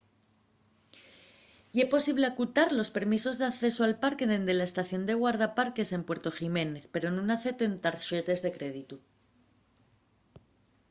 ye posible acutar los permisos d'accesu al parque dende la estación de guardaparques en puerto jiménez pero nun acepten tarxetes de créditu